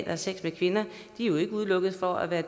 har sex med kvinder jo ikke udelukket fra at være